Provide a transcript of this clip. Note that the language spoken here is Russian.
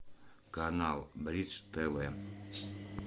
канал бридж тв